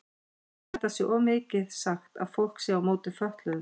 Ég held það sé of mikið sagt að fólk sé á móti fötluðum.